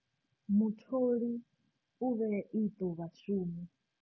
Mutholi u vhea iṱo vhashumi.